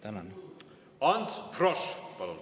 Ants Frosch, palun!